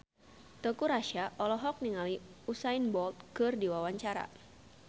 Teuku Rassya olohok ningali Usain Bolt keur diwawancara